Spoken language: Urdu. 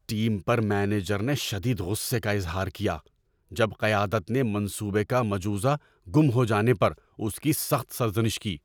ٹیم پر مینیجر نے شدید غصے کا اظہار کیا جب قیادت نے منصوبے کا مجوزہ گم ہو جانے پر اس کی سخت سرزنش کی۔